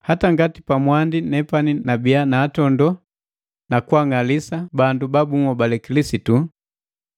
hata ngati pamwandi nepani nu kuntondo na kwaang'alisa bandu babuhobale Kilisitu